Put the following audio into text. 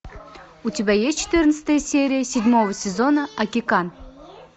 у тебя есть четырнадцатая серия седьмого сезона акикан